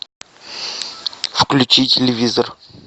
включи телевизор